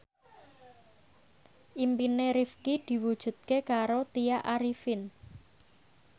impine Rifqi diwujudke karo Tya Arifin